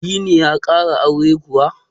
Dini ya ƙara auren kuwa?